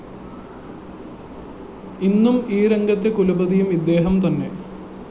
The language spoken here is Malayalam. ഇന്നും ഈ രംഗത്തെ കുലപതിയും ഇദ്ദേഹം തന്നെ